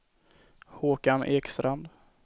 Håkan Ekstrand